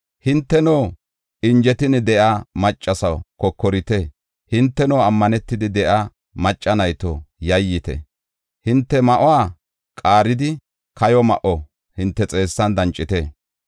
Hinteno injetin de7iya maccasaw kokorite. Hinteno ammanetidi de7iya macca nayto yayyite. Hinte ma7uwa qaaridi kayo ma7o hinte xeessan dancite.